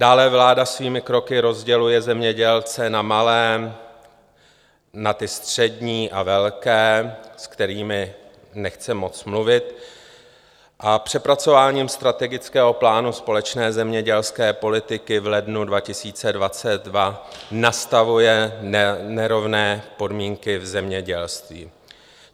Dále vláda svými kroky rozděluje zemědělce na malé, na ty střední a velké, se kterými nechce moc mluvit, a přepracováním Strategického plánu Společné zemědělské politiky v lednu 2022 nastavuje nerovné podmínky v zemědělství.